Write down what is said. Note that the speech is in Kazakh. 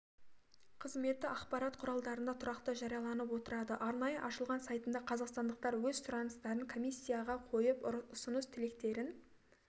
қызметі ақпарат құралдарында тұрақты жарияланып отырады арнайы ашылған сайтында қазақстандықтар өз сұрақтарын комиссияға қойып ұсыныс-тілектерін